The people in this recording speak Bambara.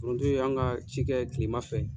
Foronto ye an ka cikɛ ye tilema fɛ.